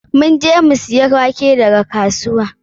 Mun je mu siya wake daga kasuwa.